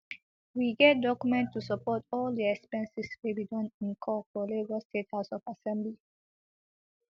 we get document to support all di expenses wey we we don incur for lagos state house of assembly